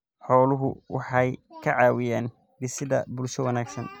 Xooluhu waxay ka caawiyaan dhisidda bulsho wanaagsan.